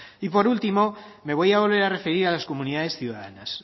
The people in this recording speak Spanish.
por último me voy a volver a referir a las comunidades ciudadanas